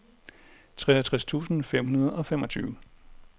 treogtres tusind fem hundrede og femogtyve